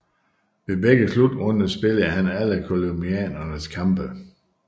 Ved begge slutrunder spillede han alle colombianernes kampe